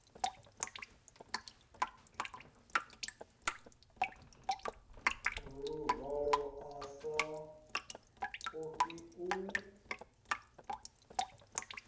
luvalo a sa ofhi u